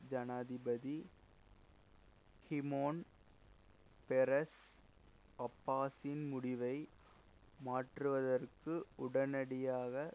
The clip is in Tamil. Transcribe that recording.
ஜனாதிபதி ஷிமோன் பெரஸ் அப்பாஸின் முடிவை மாற்றுவதற்கு உடனடியாக